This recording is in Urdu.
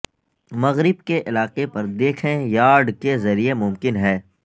مغرب کے علاقے پر دیکھیں یارڈ کے ذریعے ممکن ہے